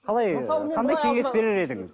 қалай қандай кеңес берер едіңіз